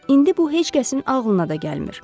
İndi bu heç kəsin ağlına da gəlmir.